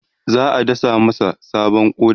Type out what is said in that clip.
za'a dasa masa sabon ƙoda